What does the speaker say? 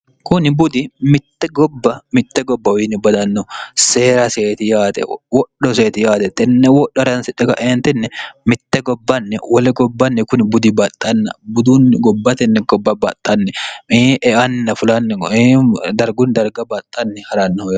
kuni budi mitte gobba mitte gobbauwiinni badanno seera seeti yaate wodho seeti yaate tenne wodho hransi dhoga eentinni mitte gobbanni wole gobbanni kuni budi baxxanna budunni gobbatenni gobba baxxanni miieana fulanni koee dargunni darga baxxanni ha'rannohoe